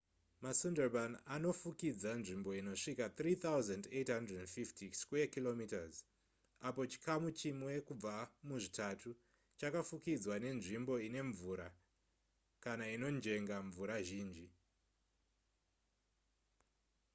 masundarban anofukidza nzvimbo inosvika 3,850km2 apo chikamu chimwe kubva muzvitatu chakafukidzwa nenzimbo ine mvura/inojenga mvura zhinji